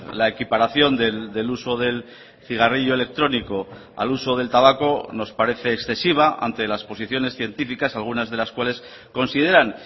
la equiparación del uso del cigarrillo electrónico al uso del tabaco nos parece excesiva ante las posiciones científicas algunas de las cuales consideran